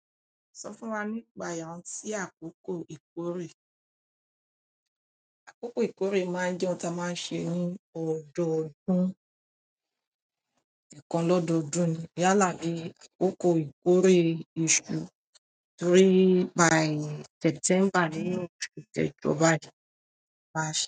Sọ fún wa nípa iyàni si àkókò ìkórè. Àkókò ìkórè máa ń jẹ́ ohun tí a máa ń ṣe ní ọdọọdún, ẹkan lọ́dọdún ni. Yálà ni àkókò ìkórè oṣù three by September ní oṣù kẹjọ bayi March.